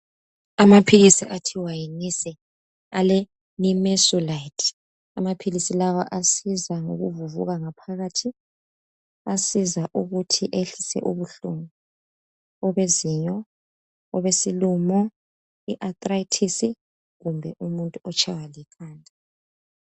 amaphilisi athiwa yi Nise ale Nimesulite amaphilisi lawa asiza ngokuvuvuka ngaphakathi asiza ukuthi ehlise ubuhlungu obezinyo obesilomo i anthritis kumbe umuntu otshaywa likhanda